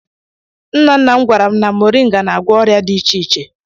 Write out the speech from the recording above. Nna nna m gwara m na mọrịnga na-agwọ ọrịa dị iche iche.